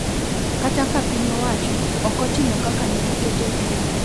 Kata ka piny owacho ok otimo kaka ne giketo winjruok.